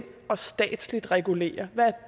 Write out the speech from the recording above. og statsligt regulere hvad